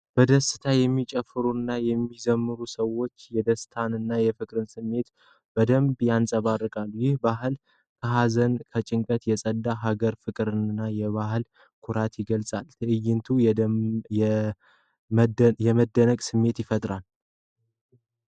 በደስታ የሚጨፍሩትና የሚዘምሩት ሰዎች የደስታንና የፍቅርን ስሜት በደንብ ያንፀባርቃሉ። ይህ በዓል ከሀዘንና ከጭንቀት የጸዳ የሀገር ፍቅርንና የባህል ኩራትን ይገልጻል። ትዕይንቱ የመደነቅ ስሜት ይፈጥራል።